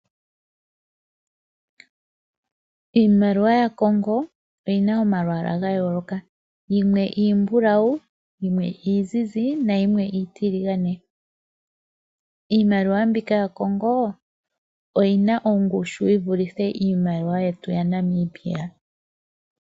Iimaliwa yaCongo oyi na omalwaala ga yooloka. Yimwe iimbulawu, yimwe iizizi nayimwe iitiligane. Iimaliwa mbika yaCongo oyi na ongushu yi vulithe iimaliwa yetu yaNamibia.